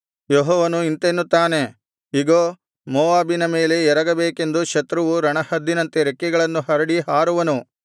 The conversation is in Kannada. ಯೆಹೋವನು ಇಂತೆನ್ನುತ್ತಾನೆ ಇಗೋ ಮೋವಾಬಿನ ಮೇಲೆ ಎರಗಬೇಕೆಂದು ಶತ್ರುವು ರಣಹದ್ದಿನಂತೆ ರೆಕ್ಕೆಗಳನ್ನು ಹರಡಿ ಹಾರುವನು